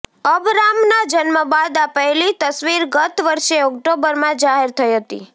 અબરામના જન્મ બાદ આ પહેલી તસવીર ગત વર્ષે ઑક્ટોબરમાં જાહેર થઈ હતી